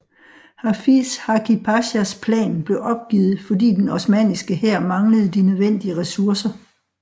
Hafiz Hakki Pashas plan blev opgivet fordi den osmanniske hær manglede de nødvendige ressourcer